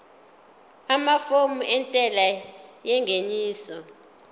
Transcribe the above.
amafomu entela yengeniso